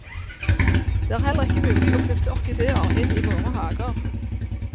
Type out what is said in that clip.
Det er heller ikke mulig å flytte orkideer inn i våre hager.